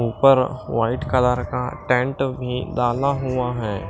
ऊपर white colour का tent भी डाला हुआ है।